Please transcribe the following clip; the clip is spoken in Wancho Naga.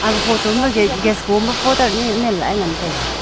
aga photo ma gate gas koma poter nyi man lahle ngan taiga.